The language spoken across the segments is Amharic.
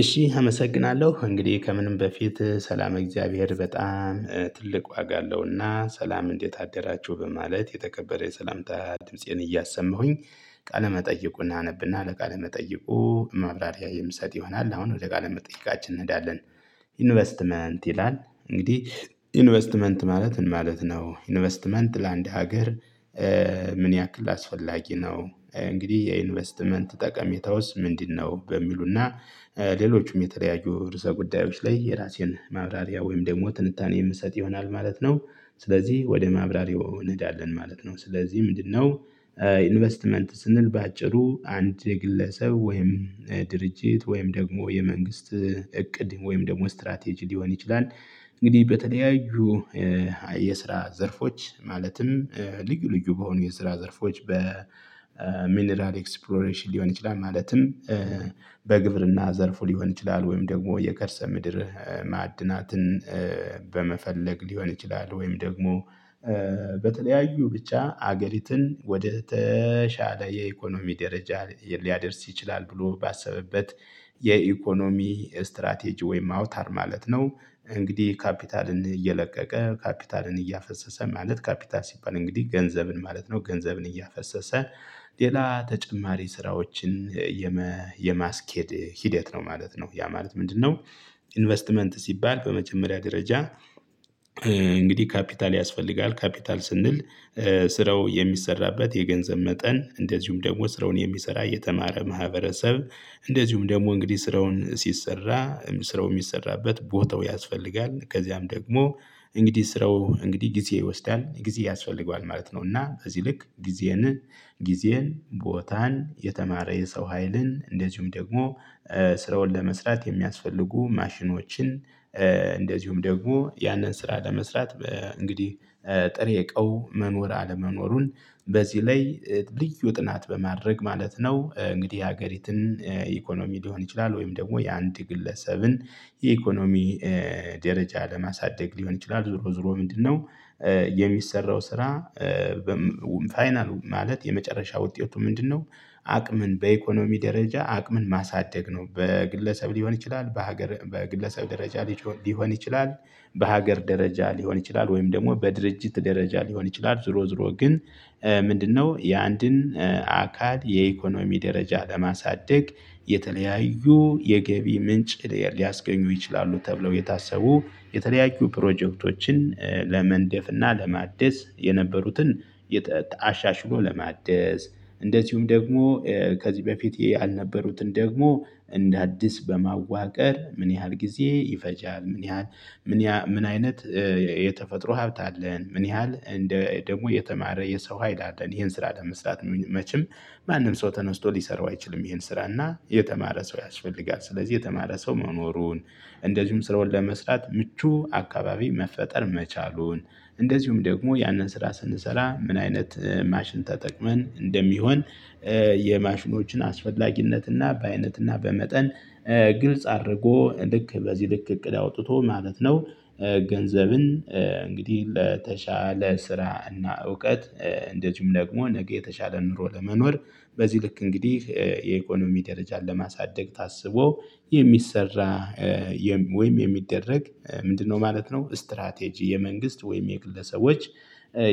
እሺ አመሰግናለሁ እንግዲህ ከምንም በፊት ሰላም እግዚአብሔር በጣም ትልቅ ዋጋ አለውና ሰላም እንዴት አደራችሁ በማለት የተከበረ የሰላምታ ድምፄን እያሰማሁኝ ቃለመጠየቁን አነብና ለቃለመጠይቁ ማብራሪያ የምሰጥ ይሆናል አሁን ወደ ቃለ መጠየቃችን እንሄዳለን። ኢንቨስትመንት ይላል እንግዲህ ኢንቨስትመንት ማለት ምን ማለት ነው? ኢንቨስትመንት ለአንድ ሀገር። ምን ያክል አስፈላጊ ነው እንግዲህ የኢንቨስትመንት ጠቀሜታ ውስጥ ምንድነው? በሚሉና ሌሎችም የተለያዩ ርዕሰ ጉዳዮች ላይ የራሴን ማብራሪያ ወይም ደግሞ ትንታኔ የምሰጥ ይሆናል ማለት ነው። ስለዚህ ወደ ማብራሪያው እንሄዳለን ማለት ነው ስለዚህ ምንድነው? ኢንቨስትመንት ስንል በአጭሩ አንድ የግለሰብ ወይም ድርጅት ወይም ደግሞ የመንግስት እቅድ ወይም ደግሞ ስትራቴጂ ሊሆን ይችላል። እንግዲህ በተለያዩ የስራ ዘርፎች ማለትም ልዩ ልዩ በሆኑ የስራ ዘርፎች በሚነራል ኤክስፕሎሬሽን ሊሆን ይችላል ማለትም በግብርና ዘርፉ ሊሆን ይችላል ወይም ደግሞ የከርሰ ምድር ማዕድናትን በመፈለግ ሊሆን ይችላል ወይም ደግሞ በተለያዩ ብቻ ሀገሪትን ወደ ተሻለ የኢኮኖሚ ደረጃ ሊያደርስ ይችላል ብሎ ባሰበበት የኢኮኖሚ ስትራቴጂ ወይም አውታር ማለት ነው። እንግዲህ ካፒታልን እየለቀቀ ካፒታልን እያፈሰሰ ማለት ካፒታል ሲባል እንግዲህ ገንዘብን ማለት ነው ገንዘብን እያፈሰሰ ሌላ ተጨማሪ ስራዎችን የማስኬድ ሂደት ነው ማለት ነው። ያ ማለት ምንድነው? ኢንቨስትመንት ሲባል በመጀመሪያ ደረጃ እንግዲህ ካፒታል ያስፈልጋል ካፒታል ስንል ስረው የሚሰራበት የገንዘብ መጠን እንደዚሁም ደግሞ ስራውን የሚሰራ የተማረ ማህበረሰብ። እንደዚሁም ደግሞ እንግዲ ስራውን ሲሰራ ስራው እሚሰራበት ቦታው ያስፈልጋል። ከዚያም ደግሞ እንግዲህ ስራው እንግዲህ ጊዜ ይወስዳል ጊዜ ያስፈልገዋል ማለት ነው። እና በዚህ ልክ ጊዜን ጊዜን ቦታን የተማረ የሰው ሀይልን እንደዚሁም ደግሞ ስራዉን ለመስራት የሚያስፈልጉ ማሽኖችን እንደዚሁም ደግሞ ያንን ስራ ለመስራት እንግዲህ ጥሬ እቃው መኖር አለመኖሩን በዚህ ላይ ልዩ ጥናት በማድረግ ማለት ነው። እንግዲህ የሀገሪትን ኢኮኖሚ ሊሆን ይችላል ወይም ደግሞ የአንድ ግለሰብን የኢኮኖሚ ደረጃ ለማሳደግ ሊሆን ይችላል። ዞሮ ዞሮ ምንድነው? የሚሰራው ስራ። ፋይናሉ ማለት የመጨረሻ ውጤቱ ምንድነው? አቅምን በኢኮኖሚ ደረጃ አቅምን ማሳደግ ነው በግለሰብ ሊሆን ይችላል በሀገር በግለሰብ ደረጃ ሊሆን ይችላል። በሀገር ደረጃ ሊሆን ይችላል ወይም ደግሞ በድርጅት ደረጃ ሊሆን ይችላል ዞሮ ዞሮ ግን ምንድነው? የአንድን አካል የኢኮኖሚ ደረጃ ለማሳደግ የተለያዩ የገቢ ምንጭ ሊያስገኙ ይችላሉ። ተብለው የታሰቡ የተለያዩ ፕሮጀክቶችን ለመንደፍ እና ለማደስ የነበሩትን አሻሽሎ ለማደስ እንደዚሁም ደግሞ ከዚህ በፊት ያልነበሩትን ደግሞ እንደ አዲስ በማዋቀር ምን ያህል ጊዜ ይፈጃል? ምን ያህል ምን ያሀ ምን አይነት የተፈጥሮ ሀብት አለን? ምን ያህል እንደ ደግሞ የተማረ የሰው ሀይል አለን? ይሄን ስራ ለመስራት መቼም ማንም ሰው ተነስቶ ሊሰራው አይችልም። ይሄን ስራ እና የተማረ ሰው ያስፈልጋል ስለዚህ የተማረ ሰው መኖሩን እንደዚሁም ስራዉን መስራት ምቹ አካባቢ መፈጠር መቻሉን እንደዚሁም ደግሞ ያንን ስራ ስንሰራ ምን አይነት ማሽን ተጠቅመን እንደሚሆን። የማሽኖችን አስፈላጊነትና በአይነትና በመጠን ግልጽ አድርጎ ልክ በዚህ ልክ እቅድ አውጥቶ ማለት ነው። ገንዘብን እንግዲህ ለተሻለ ስራ እና እውቀት እንደዚሁም ደግሞ ነገ የተሻለ ኑሮ ለመኖር በዚህ ልክ እንግዲህ የኢኮኖሚ ደረጃን ለማሳደግ ታስቦ የሚሰራ ወይም የሚደረግ ምንድነው ማለት ነው። ስትራቴጂ የመንግስት ወይም የግለሰቦች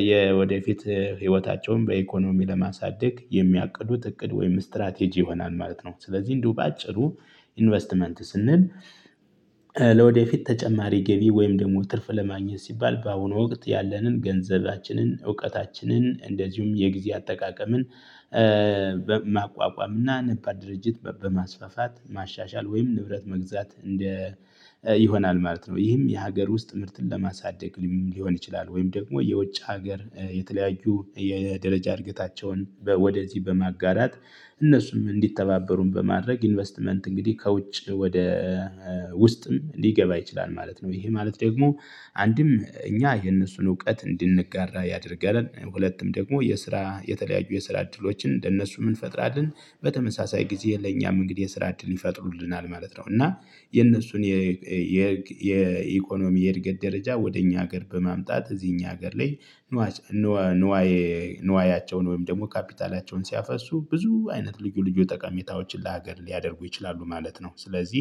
የወደፊት ህይወታቸውን በኢኮኖሚ ለማሳደግ የሚያቅዱት እቅድ ወይም ስትራቴጂ ይሆናል ማለት ነው። ስለዚህ እንዲሁ በአጭሩ ኢንቨስትመንት ስንል ለወደፊት ተጨማሪ ገቢ ወይም ደግሞ ትርፍ ለማግኘት ሲባል በአሁኑ ወቅት ያለንን ገንዘባችንን እውቀታችንን እንደዚሁም የጊዜ አጠቃቀምን ማቋቋም እና ነባር ድርጅት በማስፋፋት ማሻሻል ወይም ንብረት መግዛት እንደ ይሆናል ማለት ነው። ይህም የሀገር ውስጥ ምርትን ለማሳደግ ሊሆን ይችላል። ወይም ደግሞ የውጭ ሀገር የተለያዩ የደረጃ እድገታቸውን ወደዚህ በማጋራት እነሱም እንዲተባበሩን በማድረግ ኢንቨስትመንት እንግዲህ ከውጭ ወደ ውስጥም ሊገባ ይችላል ማለት ነው። ይህ ማለት ደግሞ አንድም እኛ የነሱን እውቀት እንድንጋራ ያደርገናል። ሁለቱም ደግሞ የስራ የተለያዩ የስራ እድሎችን እንደ ለነሱም እንፈጥራለን በተመሳሳይ ጊዜ ለእኛም እንግዲህ የስራ እድል ይፈጥሩልናል ማለት ነው። እና የነሱን የኢኮኖሚ የእድገት ደረጃ ወደ እኛ ሀገር በማምጣት እዚህ እኛ ሀገር ላይ ንዋይ ኑዋያቸውን ወይም ደግሞ ካፒታላቸውን ሲያፈሱ ብዙ አይነት ልዩ ልዩ ጠቀሜታዎችን ለሀገር ሊያደርጉ ይችላሉ ማለት ነው። ስለዚህ